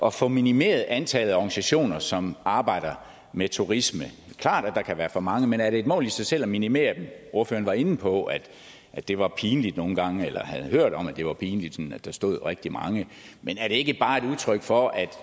at få minimeret antallet af organisationer som arbejder med turisme det klart at der kan være for mange men er det et mål i sig selv at minimere dem ordføreren var inde på at det var pinligt nogle gange eller at havde hørt om at det var pinligt at der stod rigtig mange men er det ikke bare et udtryk for at